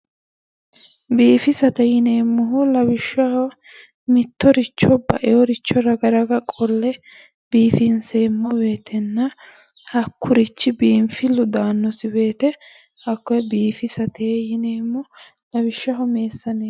Biifisate yinemmohu lawishshaho mittoricho baeericho raga raga qolle biifinseemmo wooyiitenna hakkurichi biinfillu daannosi woyiite hakkoye biifisate yineemmo. lawishshaho meessaneete